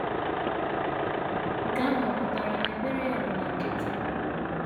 Nke ahụ ọ̀ pụtara na ekpere ya bụ na nkịtị?